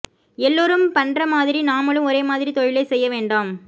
எல்லோரும் பண்றமாதிரி நாமளும் ஒரே மாதிரி தொழிலை செய்ய வேண்டாம்